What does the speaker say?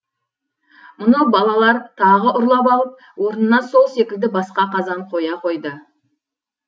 мұны балалар тағы ұрлап алып орнына сол секілді басқа қазан қоя қояды